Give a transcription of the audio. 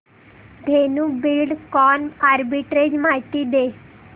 Dhenu Buildcon arbitrage माहिती दे